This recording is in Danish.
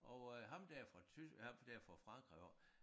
Og øh ham der fra tys ham der fra Frankrig af